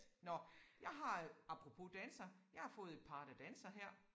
Nåh jeg har øh apropos danser jeg har fået et par der danser her